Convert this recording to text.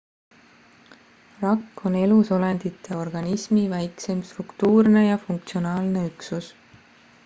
rakk on elusolendite organismi väikseim struktuurne ja funktsionaalne üksus